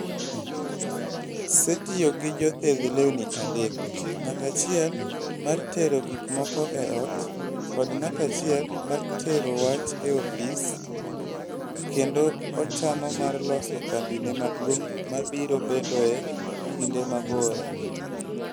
setiyo gi jothedh lewni adek, ng'at achiel mar tero gik moko e ot, kod ng'at achiel mar tero wach e ofise, kendo ochano mar loso kambine maduong' mabiro bedoe e kinde mabiro.